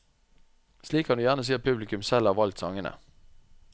Slik kan du gjerne si at publikum selv har valgt sangene.